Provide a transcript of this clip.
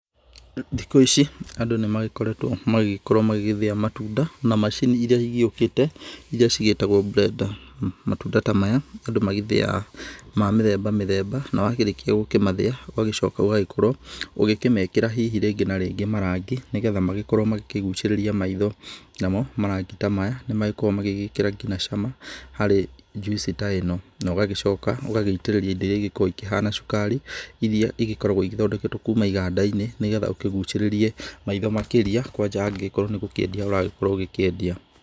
Thikũ ici andũ nĩ magĩkoretwo magĩgĩkorwo magĩgĩthĩa matunda na macini irĩa cigĩukĩte irĩa cigĩtagwo blender. Matunda ta maya andũ magĩthiyaga ma mĩthemba mĩthemba, na wakĩrĩkia gũkĩmathĩa, ũgagĩcoka ũgagĩkorwo ũgĩkĩmekĩra hihi rĩngĩ na rĩngĩ marangi, nĩgetha magĩkorwo magĩkigucĩrĩria maitho. Namo marangi ta maya nĩ magĩkorwo magĩkĩra nginya cama harĩ juice ta ĩno, na ũgagĩcoka ũgagĩitĩrĩria indo irĩa ikoragwo ikĩhana cukari, irĩa igĩkoragwo ithondeketwo kuuma iganda-inĩ, nĩgetha ũkigucĩrĩrie maitho makĩria, kwanja angĩgĩkorwo nĩ gũkĩendia ũragĩkorwo ũgĩkĩendia.